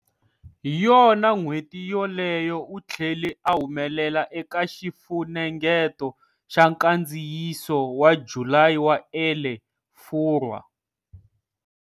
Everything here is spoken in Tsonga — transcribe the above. Hi yona n'hweti yoleyo u tlhele a humelela eka xifunengeto xa nkandziyiso wa July wa"Elle" Furwa.